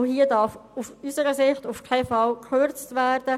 Aus unserer Sicht darf in dieser Situation keinesfalls gekürzt werden.